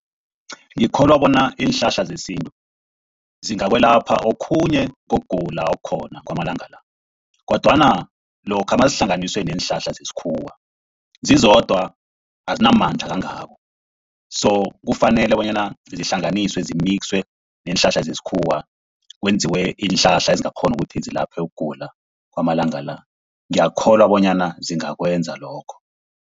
Ngikholwa bona iinhlahla zesintu zingakwelapha okhunye kokugula okukhona kwamalanga la, kodwana lokha nazihlanganiswe neenhlahla zesikhuwa, zizodwa azinamandla kangako. So kufanele bonyana zihlanganiswe zimikswe neenhlahla zesikhuwa, kwenziwe iinhlahla ezingakghona ukuthi zilaphe ukugula kwamalanga la. Ngiyakholwa bonyana zingakwenza lokho.